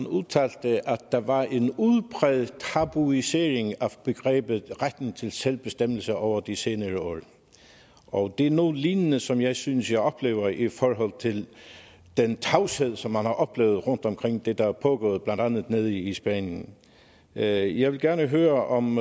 udtalte at der var en udpræget tabuisering af begrebet retten til selvbestemmelse over de senere år og det er noget lignende som jeg synes jeg oplever i forhold til den tavshed som man har oplevet omkring det der er pågået blandt andet nede i spanien jeg jeg vil gerne høre om